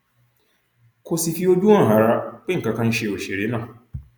kò sì fi ojú hàn rárá pé nǹkan kan ń ṣe òṣèré náà